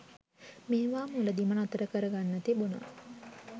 මේවා මුලදිම නතර කරගන්න තිබුණා.